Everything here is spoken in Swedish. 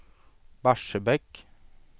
Barsebäck